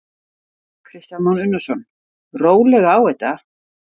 Kristján Már Unnarsson: Rólega á þetta?